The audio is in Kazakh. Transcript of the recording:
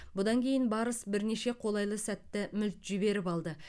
бұдан кейін барыс бірнеше қолайлы сәтті мүлт жіберіп алды